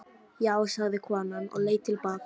Já, sagði konan og leit til baka.